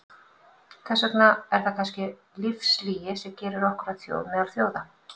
Þess vegna er það kannski lífslygi sem gerir okkur að þjóð meðal þjóða.